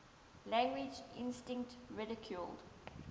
language instinct ridiculed